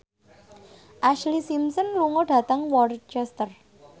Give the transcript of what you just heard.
Ashlee Simpson lunga dhateng Worcester